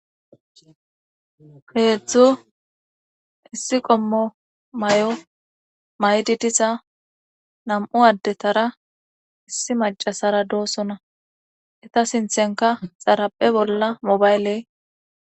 Heetzdzu issi qommo may7o maydi disa nam7u addetara issi macasara doossona eta sinthenka xaraphe bolla mobayley